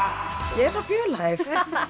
ég er svo fjölhæf